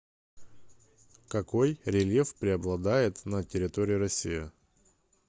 какой рельеф преобладает на территории россии